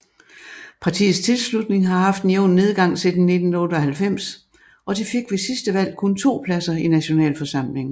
Partiets tilslutning har haft en jævn nedgang siden 1998 og de fik ved sidste valg kun 2 pladser i nationalforsamlingen